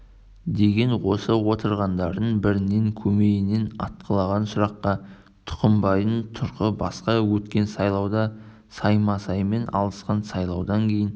деген осы отырғандардың бәрінің көмейінен атқылаған сұраққа тұқымбайдың тұрқы басқа өткен сайлауда саймасаймен алысқан сайлаудан кейін